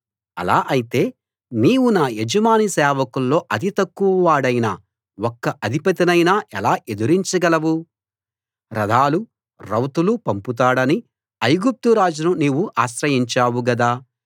అలా ఐతే నీవు నా యజమాని సేవకుల్లో అతి తక్కువ వాడైన ఒక్క అధిపతినైనా ఎలా ఎదిరించగలవు రథాలూ రౌతులూ పంపుతాడని ఐగుప్తురాజును నీవు ఆశ్రయించావు గదా